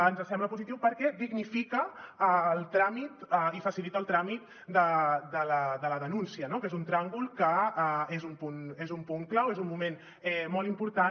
ens sembla positiu perquè dignifica el tràmit i facilita el tràmit de la denúncia no que és un tràngol que és un punt clau és un moment molt important